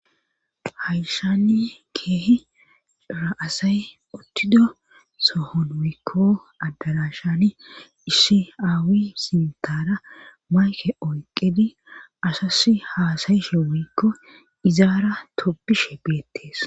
Hayssani keehira asay uttido sohon wiikko addalashani iisiaawi sintara mayke oyqedi asas haasayishe wiikko izaara topishe beettees.